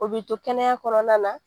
O bi to kɛnɛya kɔnɔna na